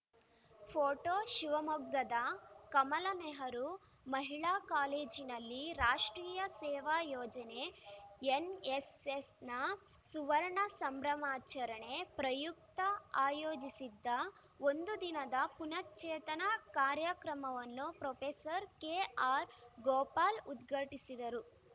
photo ಶಿವಮೊಗ್ಗದ ಕಮಲಾ ನೆಹರು ಮಹಿಳಾ ಕಾಲೇಜಿನಲ್ಲಿ ರಾಷ್ಟ್ರೀಯ ಸೇವಾ ಯೋಜನೆ ಎನ್‌ಎಸ್‌ಎಸ್‌ನ ಸುವರ್ಣ ಸಂಭ್ರಮಾಚರಣೆ ಪ್ರಯುಕ್ತ ಆಯೋಜಿಸಿದ್ದ ಒಂದು ದಿನದ ಪುನಶ್ಚೇತನ ಕಾರ್ಯಕ್ರಮವನ್ನು ಪ್ರೊಫೆಸರ್ ಕೆಆರ್‌ಗೋಪಾಲ್‌ ಉದ್ಘಾಟಿಸಿದರು